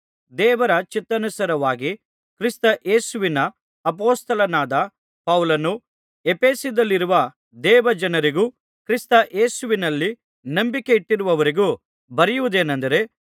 ದೇವರ ಚಿತ್ತಾನುಸಾರವಾಗಿ ಕ್ರಿಸ್ತ ಯೇಸುವಿನ ಅಪೊಸ್ತಲನಾದ ಪೌಲನು ಎಫೆಸದಲ್ಲಿರುವ ದೇವಜನರಿಗೂ ಕ್ರಿಸ್ತ ಯೇಸುವಿನಲ್ಲಿ ನಂಬಿಕೆಯಿಟ್ಟಿರುವವರಿಗೂ ಬರೆಯುವುದೇನಂದರೆ